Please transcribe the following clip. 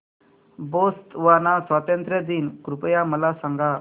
Botswana स्वातंत्र्य दिन कृपया मला सांगा